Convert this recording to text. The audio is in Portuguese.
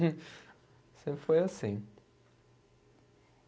Sempre foi assim.